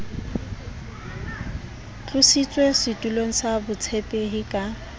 tlositswe setulong sa botshepehi ka